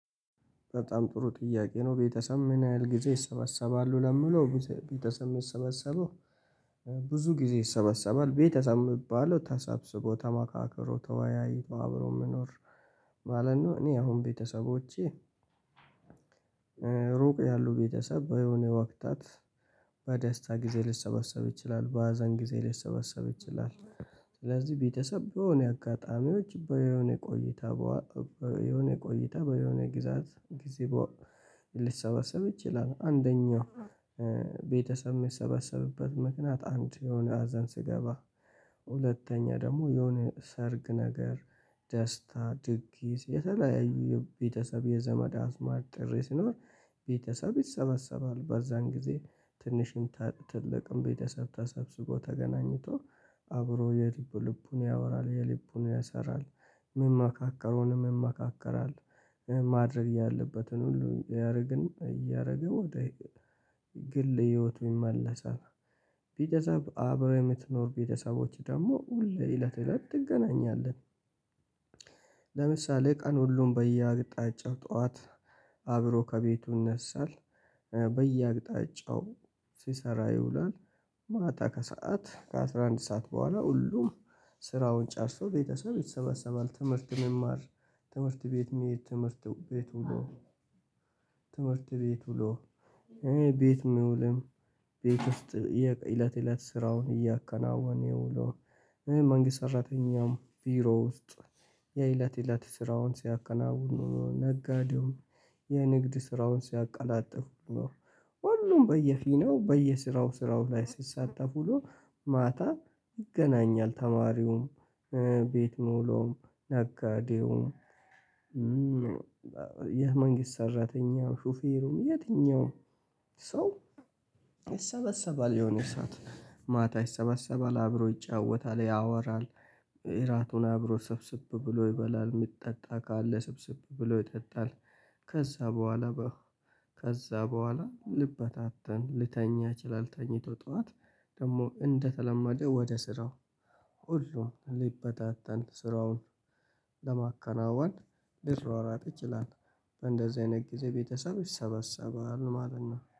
በጣም ጥሩ ጥያቄ ነው ቤተሰብ ምን ያህል ጊዜ ይሰበሰባሉ? ለምለው ቤተሰብ የሚሰበሰበው ብዙ ጊዜ ይሰበሰባል። ቤተሰብ የምባለው ተሰብስቦ ተማካክሮ ተወያይቶ አብሮ የሚኖር ማለት ነው። እኔ አሁን ቤተሰቦቼ ሩቅ ያሉ ቤተሰብ በሆነ ወቅታት በደስታ ጊዜ ሊሰበሰብ ይችላል፤ በሀዘን ጊዜ ሊሰበሰብ ይችላል፤ ስለዚህ ቤተሰብ በሆነ አጋጣሚዎች በሆነ ቆይታ በሆነ ቆይታ በሆነ ግዛት ጊዜ ልሰበሰብ ይችላል። አንደኛው ቤተሰብ የሚሰበሰብበት ምክንያት አንድ የሆነ ሀዘን ስገባ ሁለተኛ ደግሞ የሆነ ሰርግ ነገር ደስታ ድግስ የተለያዩ የቤተሰብ የዘመድ አዝማድ ጥሪ ሲኖር ቤተሰብ ይሰበሰባል በዛን ጊዜ ትንሽም ትልቅም ቤተሰብ ተሰብስቦ ተገናኝቶ አብሮ የልቡን ያወራል የልቡን ያሰራል ምመማካከሩንም ይመካከራል። ማድረግ ያለበትን ሁሉ ያደርግን እያደረገ ወደ ግል ህይወቱ ይመለሳል ቤተሰብ አብረህ የምትኖር ቤተሰቦች ደግሞ ሁሌ እለት እለት ትገናኛለህ። ለምሳሌ ቀን ሁሉም በየአቅጣጫው ጠዋት አብሮ ከቤቱ ይነሳል በየአቅጣጫው ሲሰራ ይውላል ማታ ከሰአት ከአስራ አንድ ሰዓት በኋላ ሁሉም ስራውን ጨርሰው ቤተሰብ ይሰበሰባል ትምህርት መማር ትምህርት ቤት መሄድ ትምህርት ቤት ዉሎ ትምህርት ቤት ዉሎ ቤት ምውልም ቤት ውስጥ እለት እለት ስራውን እያከናወነ ዉሎ መንግስት ሰራተኛውም ቢሮ ውስጥ የእለት እለት ስራውን ሲያከናውን ዉሎ ነጋዴውም የንግድ ስራውን ሲያቃላጥፉ ዉሎ ሁሉም በየፊናው በየስራው ስራው ላይ ስትሳተፉ ነው ማታ ይገናኛል። ተማሪውም ቤት ምዉሎዉም ነጋዴውም የመንግስት ሰራተኛ ሹፌሩም የትኛው ሰው ይሰበሰባል የሆነ ሰዓት ማታ ይሰበሰባል አብሮ ይጫወታል ያወራል እራቱን አብሮ ሰብሰብ ብሎ ይበላል የሚጠጣ ካለ ሰብሰብ ብሎ ይጠጣል ከዛ በኋላ ከዛ በኋላ ልበታተን ልተኛ ይችላል ተኝቶ ጠዋት ደግሞ እንደተለመደ ወደ ስራው ሁሉም ሊበታተን ስራውን ለማከናወን ሊሯሯጥ ይችላል። በእንደዚህ አይነት ጊዜ ቤተሰብ ይሰበሰባል ማለት ነው።